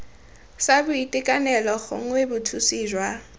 sa boitekanelo gongwe bothusi jwa